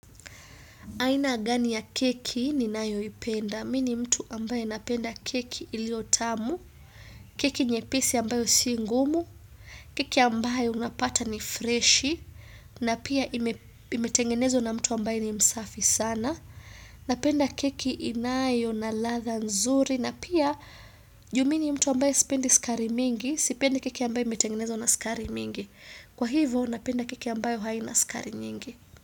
Aina gani ya keki ni nayo ipenda. Mi ni mtu ambaye napenda keki iliotamu. Keki nyepisi ambayo si ngumu. Keki ambayo unapata ni freshi. Na pia imetengenezwa na mtu ambaye ni msafi sana. Napenda keki inayo na ladha nzuri. Na pia juu mi ni mtu ambaye sipendi sukari mingi. Sipendi keki ambaye imetengenezwa na sikari mingi. Kwa hivo napenda keki ambayo haina sikari nyingi.